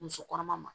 Muso kɔnɔma ma